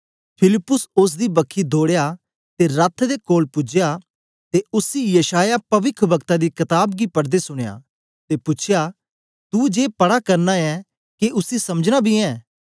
फिलिप्पुस ओसदी बखी दौड़या ते रथ दे कोल पूजया ते उसी यशायाह पविखवक्ता दी कताब गी पढ़दे सुनया ते पूछ्या तू जे पढ़ा करना ऐ के उसी समझना बी ऐं